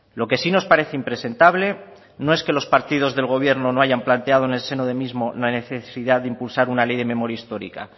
lo que sí nos parece impresentable no es que los partidos del gobierno no hayan planteado en el seno del mismo la necesidad de impulsar una ley de memoria histórica